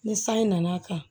Ni sanji nana kan